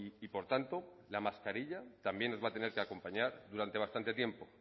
y por tanto la mascarilla también nos va a tener que acompañar durante bastante tiempo